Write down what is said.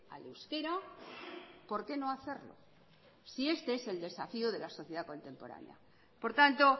al euskera por qué no hacerlo si este es el desafío de la sociedad contemporánea por tanto